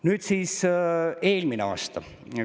Nüüd siis eelmine aasta.